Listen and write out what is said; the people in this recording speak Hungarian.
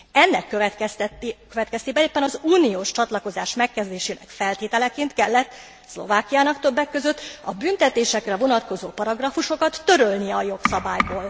Ennek következtében, éppen az uniós csatlakozás megkezdésének feltételeként kellett Szlovákiának többek között a büntetésekre vonatkozó paragrafusokat törölnie a jogszabályból.